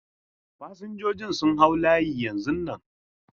Fasinjojin su hau layi yanzu nan!